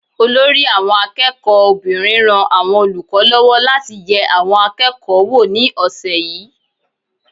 Olórí àwọn akẹ́kọ̀ọ́ obìnrin ran àwọn olùkọ́ lọ́wọ́ láti yẹ àwọn akẹ́kọ̀ọ́ wò ní ọ̀sẹ̀ yìí.